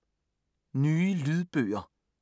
Nye lydbøger